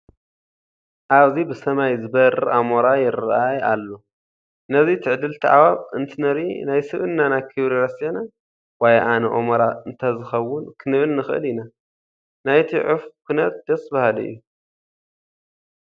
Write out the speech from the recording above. ኣብዚ ብሰማይ ዝበርር ኣሞራ ይርአ ኣሎ፡፡ ነዚ ትዕድልቲ ኣዕዋፍ እንትንርኢ ናይ ስብእናና ክብሪ ረሲዕና ዋይ ኣነ ኣሞራ እንተዝኸውን ክንብል ንኽእል ኢና፡፡ ናይቲ ዑፍ ኩነት ደስ በሃሊ እዩ፡፡